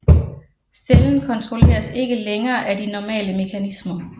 Cellen kontrolleres ikke længere af de normale mekanismer